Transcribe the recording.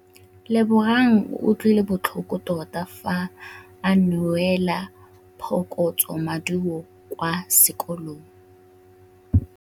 Lebogang o utlwile botlhoko tota fa a neelwa phokotsômaduô kwa sekolong.